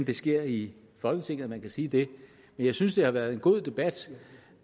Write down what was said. det sker i folketinget at man kan sige det men jeg synes det har været en god debat